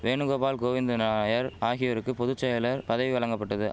வேணுகோபால் கோவிந்தநாயர் ஆகியோருக்கு பொது செயலர் பதவி வழங்கபட்டது